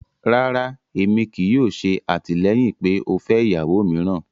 Rárá, ẹmí kíì yòò ṣè àtilẹ̀yin pé o fẹ iyàwó mìráan